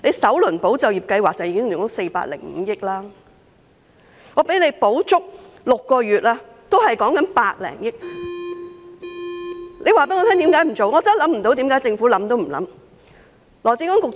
首輪"保就業"計劃已經花了405億元，即使失業援助金提供全期6個月，也只是百多億元，請政府告訴我為何不做？